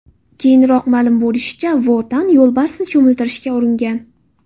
Keyinroq ma’lum bo‘lishicha, Vo Tan yo‘lbarsni cho‘miltirishga uringan.